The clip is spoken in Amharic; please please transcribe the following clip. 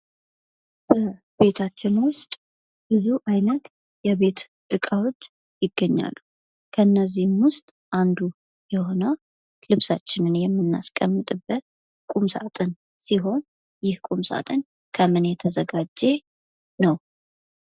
በቤታችን ውስጥ ብዙ አይነት የቤት እቃዎች ይገኛሉ። ከነዚህም ዉስጥ አንዱ የሆነው ልብሳችንን የምናስቀምጥበት ቁምሳጥን ሲሆን ይህ ቁምሳጥን ከምን የተዘጋጀ ነው?